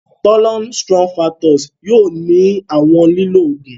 Thollon Sttrophanthus yóò ni awọn lílò oògùn.